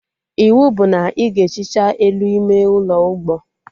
Iwu bụ na ị ga ehicha elu ime ụlọ ụgbọ